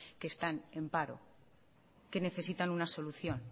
que están en paro que necesitan una solución